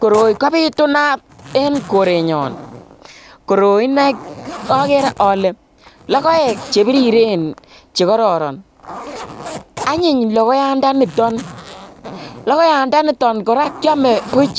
Koroi kobitunat en korenyon, koroi ineii okere olee lokoek chebiriren chekororon anyiny lokoyandaniton, lokoyandaniton kora kiome buch,